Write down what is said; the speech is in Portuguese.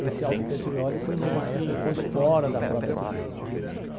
Esse Aldo Petrioli foi meu maestro, depois fora da própria Tupi.